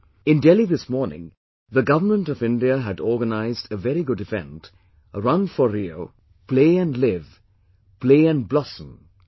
In Delhi this morning, the Government of India had organised a very good event, 'Run for RIO', 'Play and Live', 'Play and Blossom'